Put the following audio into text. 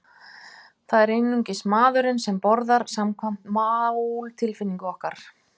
Það er einungis maðurinn sem borðar, samkvæmt máltilfinningu okkar.